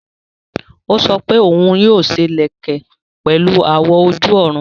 Ó sọ wípé òun yóò ṣe ìlẹ̀kẹ̀ pẹ̀lu àwọ̀ ojú-ọ̀run